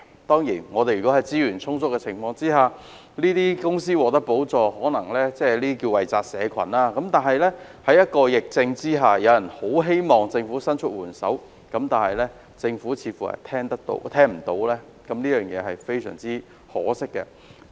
當然，在資源充足的情況下向有關公司提供補助，可謂"惠澤社群"，但在疫情下，有業界希望政府伸出援手，但政府卻似乎充耳不聞，這實在非常可惜。